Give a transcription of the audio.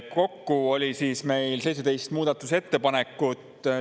Kokku oli 17 muudatusettepanekut.